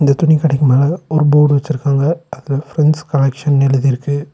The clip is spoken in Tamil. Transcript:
இந்த துணி கடைக்கு மேல ஒரு போர்டு வச்சிருக்காங்க அது ஃப்ரெண்ட்ஸ் கலெக்ஷன்னு எழுதியிருக்கு.